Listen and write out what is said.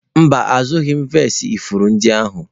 Mba, azụrụghị m vasii ifuru ndị ahụ